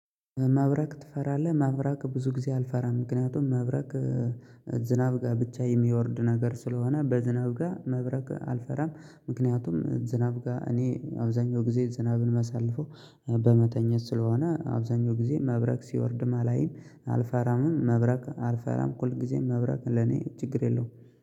መብረቅ ትፈራለህ? መብረቅ ብዙ ጊዜ አልፈራም ምክንያቱም መብረቅ ዝናብ ጋር ብቻ የሚወርድ ነገር ስለሆነ በዝናብ ጋር መብረቅ አልፈራም። ምክንያቱም ዝናብ ጋር እኔ አብዛኛው ጊዜ ዝናብን የማሳልፈው በመተኛት ስለሆነ አብዛኛው ጊዜ መብረቅ ሲወርድም አላይም። አልፈራምም መብረቅ አልፈራም ሁልጊዜ መብረቅ ለኔ ችግር የለውም